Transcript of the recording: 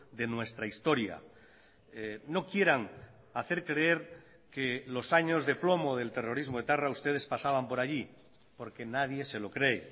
de nuestra historia no quieran hacer creer que los años de plomo del terrorismo etarra ustedes pasaban por allí porque nadie se lo cree